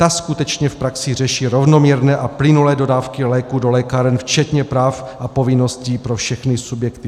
Ta skutečně v praxi řeší rovnoměrné a plynulé dodávky léků do lékáren včetně práv a povinností pro všechny subjekty.